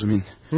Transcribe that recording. Rodya.